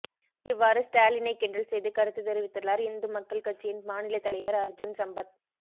இவ்வாறு ஸ்டாலினை கிண்டல் செய்து கருத்து தெரிவித்துள்ளார் இந்து மக்கள் கட்சியின் மாநிலத் தலைவர் அர்ஜூன் சம்பத்